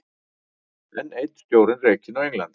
Enn einn stjórinn rekinn á Englandi